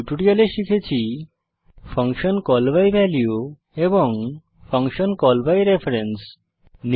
এই টিউটোরিয়ালে শিখেছি ফাংশন কল বাই ভ্যালিউ এবং ফাংশন কল বাই রেফারেন্স